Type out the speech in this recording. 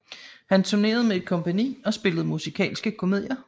Hun turnerede med et kompagni og spillede musikalske komedier